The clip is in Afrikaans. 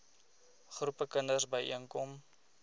groepe kinders byeenkom